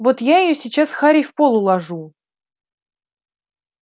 вот я её сейчас харей в пол уложу